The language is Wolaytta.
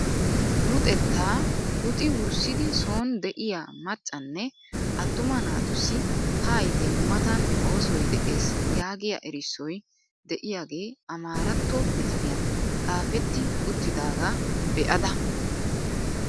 Luxettaa luxxi wurssidi sooni de'iyaa maccanne attuma naatussi haayite nu matan oosoy de'ees yaagiyaa erissoy de'iyaagee amaaratto pitaliyaan xaafetti uttidagaa be'ida!